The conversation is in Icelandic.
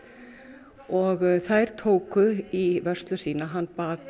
og þær tóku í vörslu sína hann bað